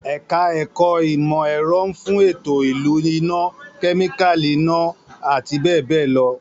Èka-èkó ìmò-èro nfun eto ilu ina-, kemikali ina- ati be be lo